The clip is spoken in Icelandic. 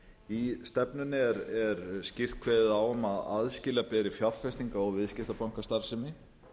í stefnunni er skýrt kveðið á um að aðskilja beri fjárfestinga og viðskiptabankastarfsemi